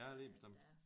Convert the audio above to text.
Ja lige bestemt